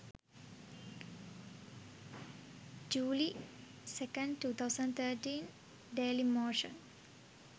july 02 2013 dailimotion